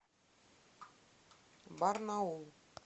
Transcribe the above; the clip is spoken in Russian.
барнаул